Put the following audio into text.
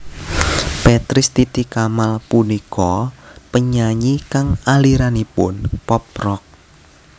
Petris Titi Kamal punika penyanyi kang aliranipun pop rock